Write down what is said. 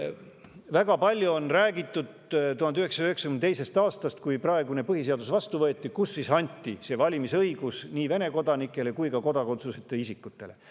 Väga palju on räägitud 1992. aastast, kui võeti vastu praegune põhiseadus, kus anti valimisõigus nii Vene kodanikele kui ka kodakondsuseta isikutele.